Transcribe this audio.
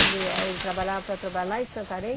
Ele é ele trabalhava na Petrobras lá em Santarém?